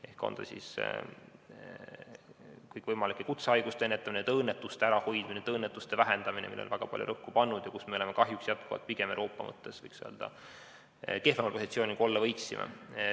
on kõikvõimalike kutsehaiguste ennetamine, tööõnnetuste ärahoidmine ja vähendamine, millele on väga palju rõhku pandud ja kus me oleme kahjuks jätkuvalt Euroopa mõttes, võiks öelda, pigem kehvemal positsioonil, kui olla võiksime.